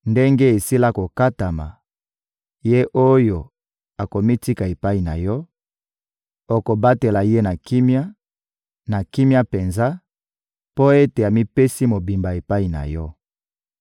Ndenge esila kokatama, ye oyo akomitika epai na Yo, okobatela ye na kimia, na kimia penza, mpo ete amipesi mobimba epai na Yo.